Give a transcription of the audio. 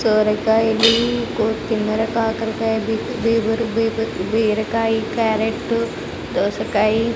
సొరకాయలు కొ కిన్నెర కాకరకాయ్ బీబీర్ బీబుర్ బీరకాయ్ క్యారెట్ దోసకాయి--